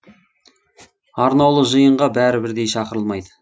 арнаулы жиынға бәрі бірдей шақырылмайды